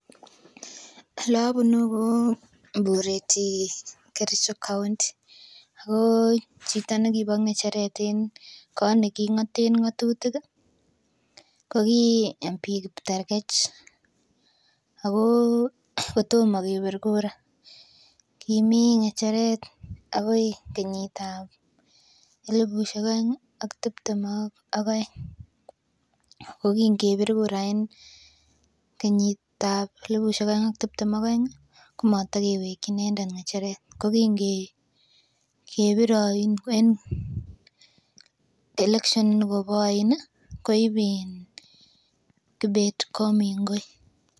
Elobunu ko Bureti Kericho county ako chito nekibo ng'echeret en kot neking'oten ng'otutik ih ko ki member of parliament Kiptergech ako kotomo kebir kura ko kimii ng'echeret akoi kenyit ab elipusiek oeng ak tiptem ak oeng ko kin kebir kura en kenyit ab elipusiek oeng ak tiptem ak oeng ih komatakewekyi inendet ng'echeret ko kin kebire oin en election nikobo oin ih koib in Kibet Komingoi